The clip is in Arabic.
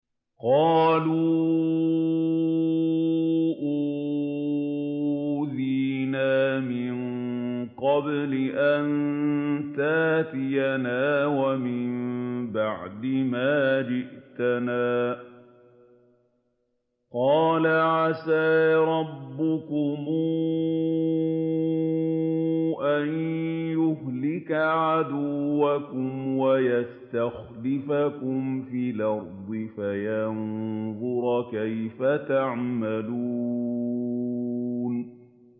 قَالُوا أُوذِينَا مِن قَبْلِ أَن تَأْتِيَنَا وَمِن بَعْدِ مَا جِئْتَنَا ۚ قَالَ عَسَىٰ رَبُّكُمْ أَن يُهْلِكَ عَدُوَّكُمْ وَيَسْتَخْلِفَكُمْ فِي الْأَرْضِ فَيَنظُرَ كَيْفَ تَعْمَلُونَ